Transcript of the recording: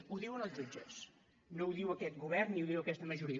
ho diuen els jutges no ho diu aquest govern ni ho diu aquesta majoria